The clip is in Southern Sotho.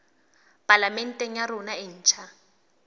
palamente ya rona e ntjha